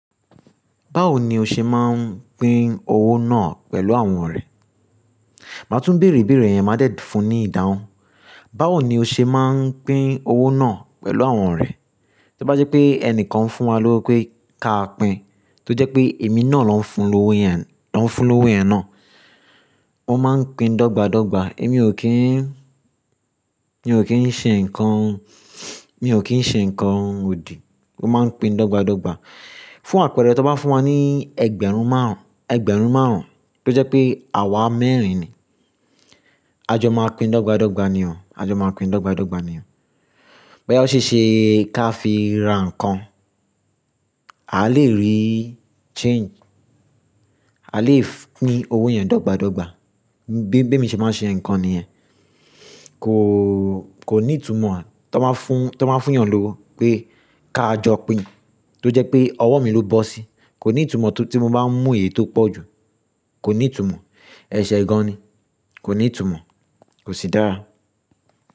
Báwo ni o ṣe máa ń pín owó náà pẹ̀lú àwọn òrẹ́? Màá tún bèrè ibèrè yẹn, máa dè fún ní ìdáhùn. Báwo ni o ṣe máa ń pín owó náà pẹ̀lú àwọn rẹ? Tí bá jẹ́ pé ẹnìkan fún wa lówó pé káa pín, tó jẹ́ pé èmi náà ló ń fún lówó yẹn, ló ń fún lówó yẹn náà. Mo máa ń pín dọ́gba dọ́gba èmi ò kí n, mi ò kí ń ṣe nǹkan, mi ò kí ń ṣe nǹkan òdì. Wọ́n máa ń pín dọ́gba dọ́gba. Fún àpẹẹrẹ, tí wọ́n bá fún wa ní ẹgbẹ̀rún márùn-ún, ẹgbẹ̀rún márùn-ún tó jẹ́ pé àwa mẹ́rin ni. A jọ máa pín dọ́gba dọ́gba ni o, a jọ máa pín dọ́gba dọ́gba ni o. Báya ó ṣe ṣe kí a fi ra nǹkan, a lè rí change, a lè pín owó yẹn dọ́gba dọ́gba. Bí bí emi ṣe máa ṣe nǹkan nìyẹn. Kò, kò ní ìtumọ̀. Tí wọ́n bá fún, tí wọ́n bá fún yàn lówó pé ká jọ pín tó jẹ́ pé ọwọ́ mi ló bọ́ sí, kò ní ìtumọ̀ tí mo bá ń mú èyí tó pọ̀ ju. Kò ní ìtumọ̀. Ẹ̀ṣẹ̀ gan-an ni. Kò ní ìtumọ̀, kò sì dára.